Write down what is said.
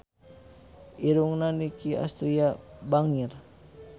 Irungna Nicky Astria bangir